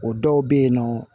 O dɔw bɛ yen nɔ